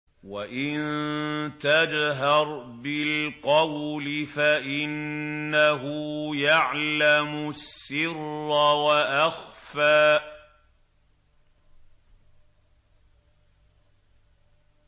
وَإِن تَجْهَرْ بِالْقَوْلِ فَإِنَّهُ يَعْلَمُ السِّرَّ وَأَخْفَى